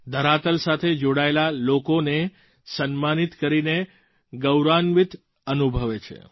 ધરાતલ સાથે જોડાયેલા લોકોનું સન્માનિત કરીને ગૌરવાન્વિત અનુભવે છે